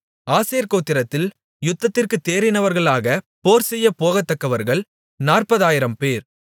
ஆசேர் கோத்திரத்தில் யுத்தத்திற்குத் தேறினவர்களாக போர்செய்யப்போகத்தக்கவர்கள் நாற்பதாயிரம்பேர்